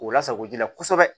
O lasago ji la kosɛbɛ